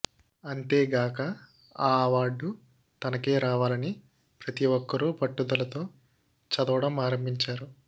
అంతేగాక ఆ అవార్డు తనకే రావాలని ప్రతి ఒక్కరు పట్టుదలతో చదవడం ఆరంభించారు